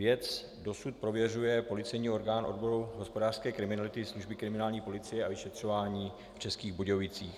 Věc dosud prověřuje policejní orgán odboru hospodářské kriminality služby kriminální policie a vyšetřování v Českých Budějovicích.